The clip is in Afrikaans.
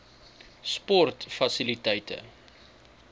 sportfasiliteite